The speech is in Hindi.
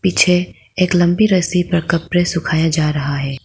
एक लंबी रस्सी पर कपड़े सुखाया जा रहा है।